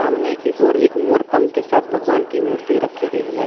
की और एक मोर पंख के साथ भगवान की मूर्ति रखी गई है।